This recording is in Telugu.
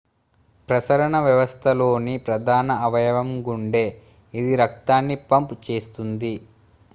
ప్రసరణ వ్యవస్థలోని ప్రధాన అవయవం గుండె ఇది రక్తాన్ని పంప్ చేస్తుంది